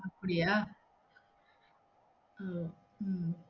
அப்படியா? ஓ உம்